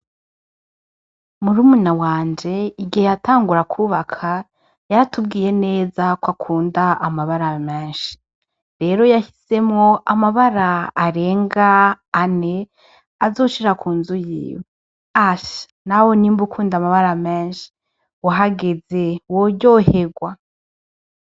Murumuna wanje igihe yatangura kwubaka yaratubwiye neza ko akunda amabara menshi. Rero yahisemwo amabara arenga ane azoshira ku nzu yiwe. Asha! Nawe nimba ukunda amabara menshi uhageze woryoherwa.